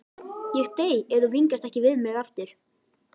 Ég dey ef þú vingast ekki við mig aftur.